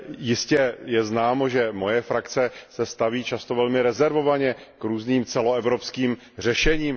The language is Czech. Jistě je známo, že moje frakce se staví často velmi rezervovaně k různým celoevropským řešením.